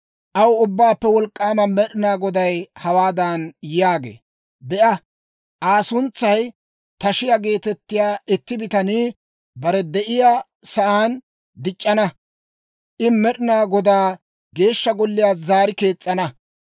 Aw, ‹Ubbaappe Wolk'k'aama Med'inaa Goday hawaadan yaagee; «Be'a, Aa suntsay Tashiyaa geetettiyaa itti bitanii bare de'iyaa saan dic'c'ana; I Med'inaa Godaa Geeshsha Golliyaa zaari kees's'ana.